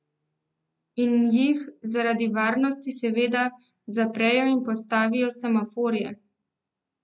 In jih, zaradi varnosti seveda, zaprejo in postavijo semaforje.